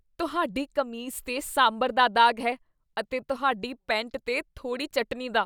ਤੁਹਾਡੀ ਕਮੀਜ਼ 'ਤੇ ਸਾਂਭਰ ਦਾ ਦਾਗ਼ ਹੈ ਅਤੇ ਤੁਹਾਡੀ ਪੈਂਟ 'ਤੇ ਥੋੜੀ ਚਟਨੀ ਦਾ ।